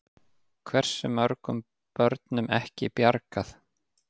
Hversu mörgum börnum ekki bjargað?